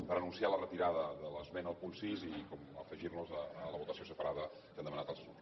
per anunciar la retirada de l’esmena al punt sis i afegir nos a la votació separada que han demanat altres grups